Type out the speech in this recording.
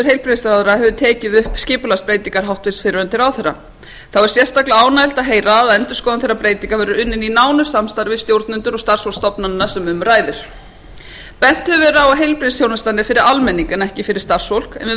heilbrigðisráðherra hefur tekið upp skipulagsbreytingar hæstvirtur fyrrverandi ráðherra þá er sérstaklega ánægjulegt að heyra að endurskoðun þeirra breytinga verður unnin í nánu samstarfi við stjórnendur og starfsfólk stofnananna sem um ræðir bent hefur verið á að heilbrigðisþjónustan er fyrir almenning en ekki fyrir starfsfólk en við